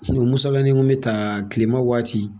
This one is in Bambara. Musa bɛɛ ne nko bɛ taa tilema waati.